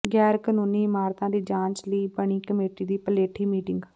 ਗੈਰ ਕਾਨੂੰਨੀ ਇਮਾਰਤਾਂ ਦੀ ਜਾਂਚ ਲਈ ਬਣੀ ਕਮੇਟੀ ਦੀ ਪਲੇਠੀ ਮੀਟਿੰਗ